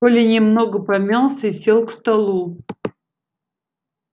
коля немного помялся и сел к столу